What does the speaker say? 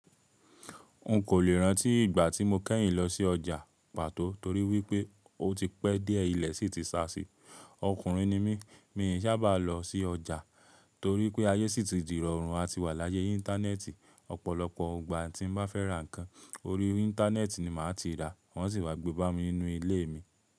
O kẹ́yìn lọsí ọjà pàtó toríwípé ó ti pẹ́ díẹ̀ ilé sì ti sá sí, ọkùnrin nimi mi sábà lọsí ọjà torípé ayé sì ti rọrùn àti wà ní ayé íńtánẹ́ẹ̀tì ọ̀pọ̀lọpọ̀ ìgbà tí mo bá fẹ́ ra nkán orí íńtánẹ́ẹ̀tì ni màá ti rà wọ́n sì wá gbé wá bámi ní ilé mi.